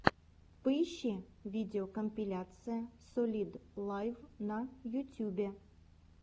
поищи видеокомпиляция солид лайв на ютюбе